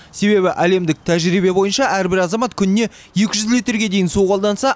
себебі әлемдік тәжірибе бойынша әрбір азамат күніне екі жүз литрге дейін су қолданса